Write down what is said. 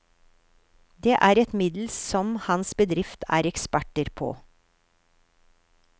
Det er et middel som hans bedrift er eksperter på.